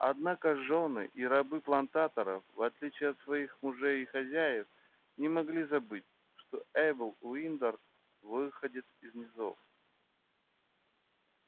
однако жёны и рабы плантаторов в отличие от своих мужей и хозяев не могли забыть что эйбл уиндер выходец из низов